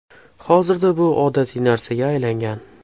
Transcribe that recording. Hozirda bu odatiy narsaga aylangan.